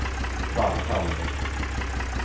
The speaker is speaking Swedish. Vallhamn